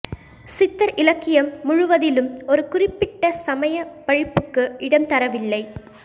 சித்தர் இலக்கியம் முழுவதிலும் ஒரு குறிப்பிட்ட சமய பழிப்புக்கு இடம்தரவில்லை